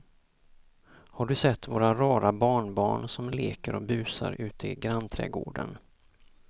Har du sett våra rara barnbarn som leker och busar ute i grannträdgården!